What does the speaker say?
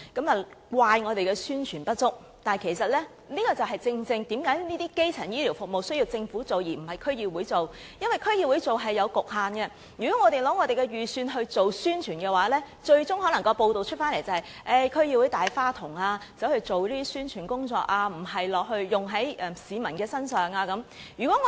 有評論怪責我們宣傳不足，但其實這正是基層醫療服務工作應由政府而不是區議會來做的原因，因為區議會是有局限的，如果我們使用撥款來做宣傳，最終可能會有報道指區議會是"大花筒"，花錢做宣傳工作，而不是用在市民身上。